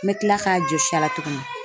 N bɛ kila k'a jɔsi a la tuguni .